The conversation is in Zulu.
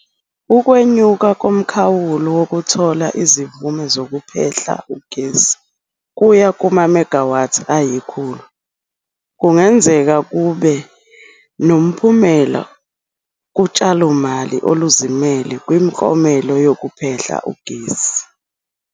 Ukwenyuka komkhawulo wokuthola izimvume zokuphehla ugesi kuya kuma-megawatts ayi-100 kungenzeka kube nomphumela kutshalomali oluzimele kwimiklamo yokuphehla ugesi.